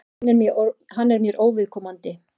Hann er mér óviðkomandi.